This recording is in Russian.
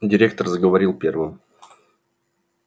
директор заговорил первым